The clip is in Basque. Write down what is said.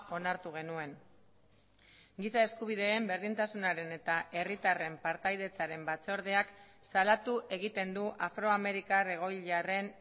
onartu genuen giza eskubideen berdintasunaren eta herritarren partaidetzaren batzordeak salatu egiten du afroamerikar egoilarren